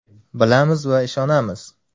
Bilamiz va ishonamiz.